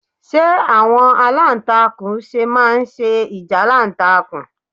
Ṣe awọn alantakun ṣe ma n se ijalantakun?